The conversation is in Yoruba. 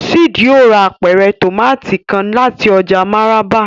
Sid yóò rà apẹrẹ tomati kàn láti ọjà Maraba